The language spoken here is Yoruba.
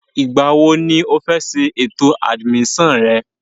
Ìgbà wo ni o fẹ́ ṣe ètò àdìmísàn rẹ?